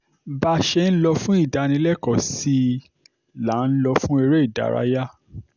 bá a ṣe ń lọ fún ìdánilẹ́kọ̀ọ́ sí i là ń lò fún eré ìdárayá